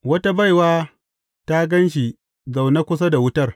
Wata baiwa ta gan shi zaune kusa da wutar.